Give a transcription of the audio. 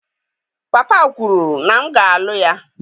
Papa kwuru na m ga-alụ ya.